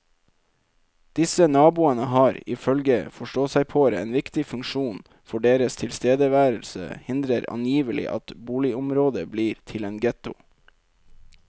Disse naboene har, ifølge forståsegpåere, en viktig funksjon, for deres tilstedeværelse hindrer angivelig at boligområdet blir til en ghetto.